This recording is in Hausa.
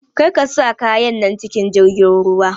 Karka sa kayan nan cikin jirgin ruwa!